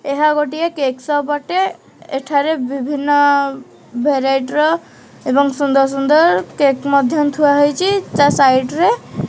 ଏହା ଗୋଟିଏ cake shop ଅଟେ ଏଠାର ବିଭିନ୍ନ ଭେରାଇଟି ର ଏବଂ ସୁନ୍ଦର ସୁନ୍ଦର କେକ୍ ମଧ୍ୟ ଥୁଆ ହେଇଚି ତା ସାଇଟ୍ ରେ।